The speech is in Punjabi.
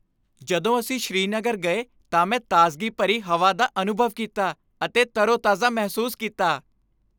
ਜਦੋਂ ਅਸੀਂ ਸ੍ਰੀਨਗਰ ਗਏ ਤਾਂ ਮੈਂ ਤਾਜ਼ਗੀ ਭਰੀ ਹਵਾ ਦਾ ਅਨੁਭਵ ਕੀਤਾ ਅਤੇ ਤਰੋਤਾਜ਼ਾ ਮਹਿਸੂਸ ਕੀਤਾ।